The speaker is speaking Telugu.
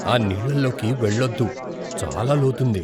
ఆ నీళ్లలోకి వెళ్లొద్దు. చాలా లోతుంది!